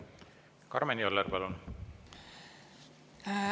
Karmen Joller, palun!